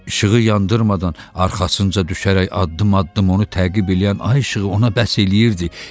İşığı yandırmadan arxasınca düşərək addım-addım onu təqib eləyən Ay işığı ona bəs eləyirdi.